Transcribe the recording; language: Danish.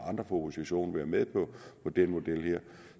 oppositionen være med på den model her